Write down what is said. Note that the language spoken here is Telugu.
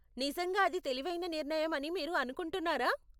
నిజంగా అది తెలివైన నిర్ణయం అని మీరు అనుకుంటున్నారా?